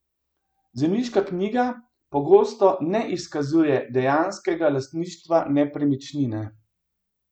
Zemljiška knjiga pogosto ne izkazuje dejanskega lastništva nepremičnine.